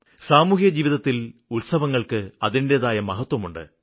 സാമൂഹികജീവിതത്തില് ഉത്സവങ്ങള്ക്ക് അതിന്റേതായ മഹത്വമുണ്ട്